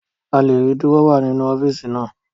A lè rí Dúrọ́à nínú ọ́fíìsì naa